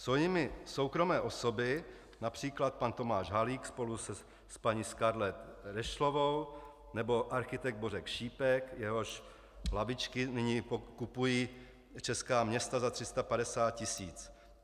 Jsou jimi soukromé osoby, například pan Tomáš Halík spolu s paní Scarlett Rešlovou nebo architekt Bořek Šípek, jehož lavičky nyní kupují česká města za 350 tisíc?